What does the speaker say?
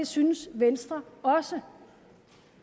synes venstre også